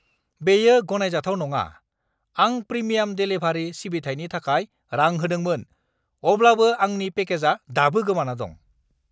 बेयो गनायजाथाव नङा! आं प्रिमियाम देलिभारि सिबिथायनि थाखाय रां होदोंमोन, अब्लाबो आंनि पेकेजआ दाबो गोमाना दं।